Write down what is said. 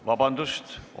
Vabandust!